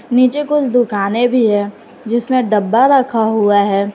नीचे कुछ दुखने भी है जिसमें डब्बा रखा हुआ है।